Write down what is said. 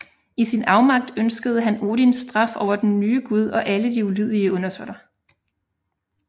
I sin afmagt ønskede han Odins straf over den nye Gud og alle de ulydige undersåtter